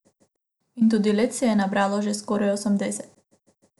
In tudi let se je nabralo že skoraj osemdeset.